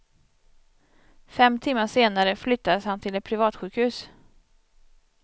Fem timmar senare flyttades han till ett privatsjukhus.